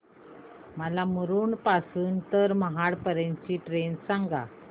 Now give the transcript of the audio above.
मला मुरुड पासून तर महाड पर्यंत ची ट्रेन सांगा